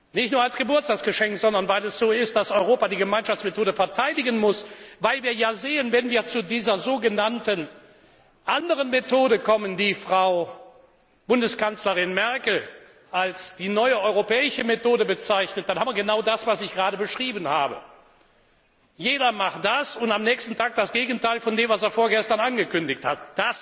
Nicht nur als Geburtstagsgeschenk, sondern weil es so ist, dass Europa die Gemeinschaftsmethode verteidigen muss, weil wir sehen, dass wir, wenn wir zu dieser anderen Methode kommen, die Frau Bundeskanzlerin Merkel als die neue europäische Methode bezeichnet, genau das haben, was ich gerade beschrieben habe Jeder macht das und am nächsten Tag das Gegenteil von dem, was er vorgestern angekündigt hat.